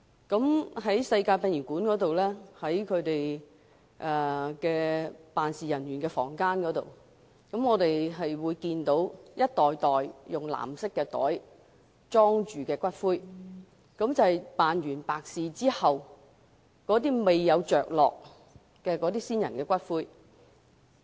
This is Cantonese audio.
我在世界殯儀館的辦事處，看到一袋袋以藍色袋盛載的骨灰。這些都是辦完白事後，未有位置安放的先人骨灰。